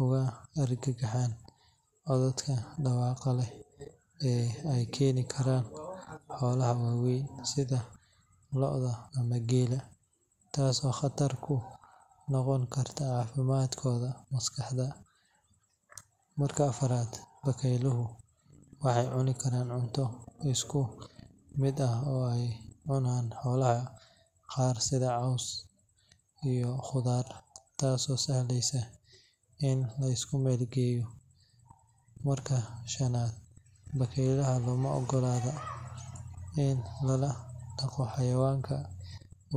uga argagaxaan codadka dhawaqa leh ee ay keeni karaan xoolaha waaweyn sida lo’da ama geela, taasoo khatar ku noqon karta caafimaadkooda maskaxeed. Marka afaraad, bakayluhu waxay cuni karaan cunto isku mid ah oo ay cunaan xoolaha qaar sida caws iyo khudaar, taasoo sahlaysa in la isku meel geeyo. Marka shanaad, bakaylaha looma oggola in lala dhaqo xayawaanka.